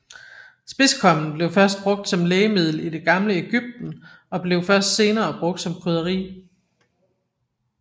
Spidskommen blev først brugt som lægemiddel i det gamle Egypten og blev først senere brugt som krydderi